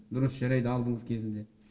дұрыс жарайды алдыңыз кезінде